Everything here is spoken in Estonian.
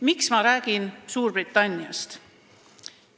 Miks ma räägin Suurbritanniast?